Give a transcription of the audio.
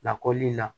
Lakɔli la